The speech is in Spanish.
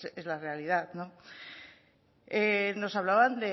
es la realidad nos hablaban